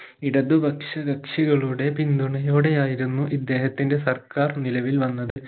ഇടതുപക്ഷ കക്ഷികളുടെ പിന്തുണയോടെ ആയിരുന്നു ഇദ്ദേഹത്തിൻറെ സർക്കാർ നിലവിൽ വന്നത്